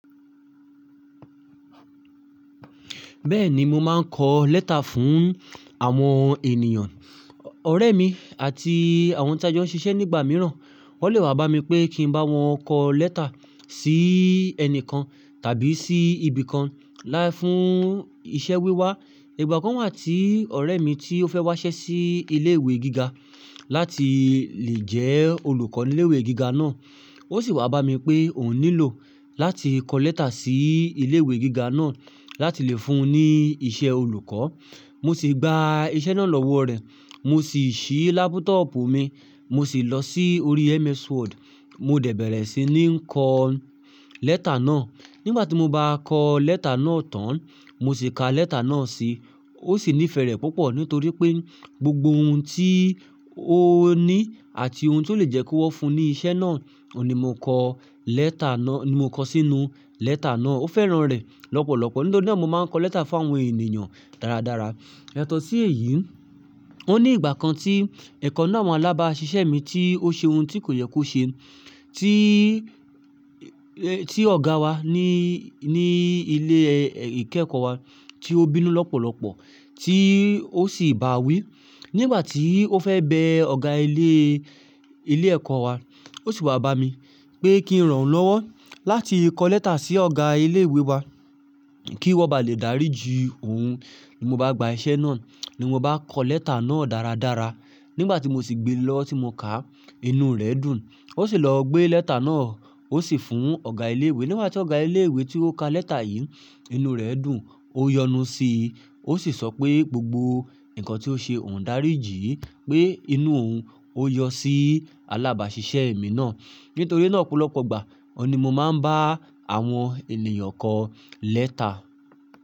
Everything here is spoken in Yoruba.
Bẹ́ẹ̀ni, mo máa ń kọ lẹ́tà fún àwọn ènìyàn. Ọ̀rẹ́ mi àti àwọn tí a jọ ṣiṣẹ́ nígbà mìíràn, wọ́n lè wá bá mi pé kí n bá wọn kọ lẹ́tà sí ẹnìkan tàbí sí ibìkan láì fún iṣẹ́ wíwá. Ìgbà kan wà tí ọ̀rẹ́ mi tí ó fẹ́ wá iṣẹ́ sí ilé ìwé gíga láti lè jẹ́ olùkọ́ ní ilé ìwé gíga náà, ó sì wá bá mi pé òun nílò láti kọ lẹ́tà sí ilé ìwé gíga náà láti lè fún un ní iṣẹ́ olùkọ́. Mo sì gba iṣẹ́ náà lọ́wọ́ rẹ̀. Mo sì ṣí lápútọọ̀pù mi, mo sì lọ sí orí MS Word, mo dẹ̀ bẹ̀rẹ̀ sí ní kọ lẹ́tà náà. Nígbà tí mo bá kọ lẹ́tà náà tán, mo sì ka lẹ́tà náà sí i, ó sì nífẹ̀ẹ́ rẹ̀ púpọ̀ nítorí pé gbogbo ohun tí ó ní àti ohun tí ó lè jẹ́ kí wọ́n fún un ní iṣẹ́ náà ohun ni mo kọ lẹ́tà náà, ni mo kọ sínú lẹ́tà náà. Ó fẹ́ràn rẹ̀ lọ́pọ̀lọpọ̀. Nítorí náà mo máa ń kọ lẹ́tà fún àwọn ènìyàn dáradára. Yatọ̀ọ́ sí èyí, ó ní ìgbà kan tí ẹ̀kan ninu awọn alábà ṣiṣẹ́ mi tí ó ṣe ohun tí kò yẹ kó ṣe, tí, tí ọ̀gá wa ní, ní ilé ìkẹ́kọ̀ọ́ wa tí ó bínú lọ́pọ̀lọpọ̀ tí ó sì bà á wí. Nígbà tí ó fẹ́ bẹ ọ̀gá ilé, ilé ẹ̀kọ́ wa, ó sì wá bá mi pé kí n rán an lọ́wọ́ láti kọ lẹ́tà sí ọ̀gá ilé ìwé wa kí wọ́n bá lè dárí ju òun. Mo bá gba iṣẹ́ náà, ni mo bá kọ lẹ́tà náà dáradára. Nígbà tí mo sì gbe lọ́, tí mo kà á, inú rẹ̀ dùn. Ó sì lọ gbé lẹ́tà náà, ó sì fún ọ̀gá ilé ìwé. Nígbà tí ọ̀gá ilé ìwé tí ó ka lẹ́tà yìí, inú rẹ̀ dùn, ó yọnu sí i. Ó sì sọ pé gbogbo nǹkan tí ó ṣe òun dárí jí, pé inú òun ó yọ sí alábàáṣiṣẹ́ mi náà. Nítorí náà opolọpọ̀ ìgbà, òní mo máa ń bá àwọn ènìyàn kọ lẹ́tà.